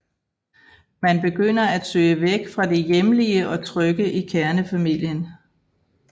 Man begynder at søge væk fra det hjemlige og trygge i kernefamilien